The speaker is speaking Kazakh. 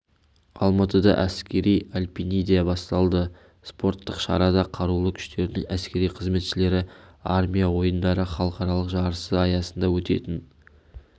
алматыда әскери альпиниада басталды спорттық шарада қарулы күштерінің әскери қызметшілері армия ойындары халықаралық жарысы аясында өтетін